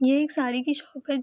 यह एक साड़ी की शॉप है।